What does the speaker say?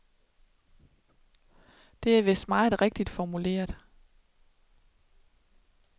Det er vist meget rigtigt formuleret.